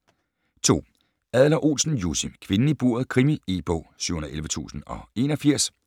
2. Adler-Olsen, Jussi: Kvinden i buret: krimi E-bog 711081